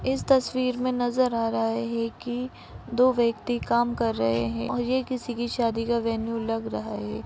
इस तस्वीर में नज़र आ रहा है कि दो व्यक्ति काम कर रहे हैं और ये किसी की शादी का वेन्यू लग रहा है।